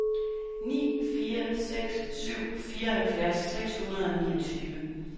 ni fire seks syv fireoghalvfjerds seks hundrede og niogtyve